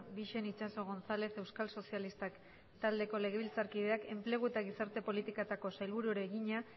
bixen itxaso gonzález euskal sozialistak taldeko legebiltzarkideak enplegu eta gizarte politiketako sailburuari egina